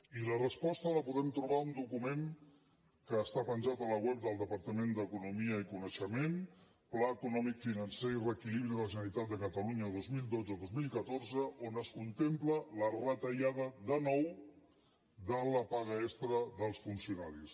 i la resposta la podem trobar en un document que està penjat al web del departament d’economia i coneixement pla eco·nòmic financer i reequilibri de la generalitat de cata·lunya dos mil dotze·dos mil catorze on es contempla la retallada de nou de la paga extra dels funcionaris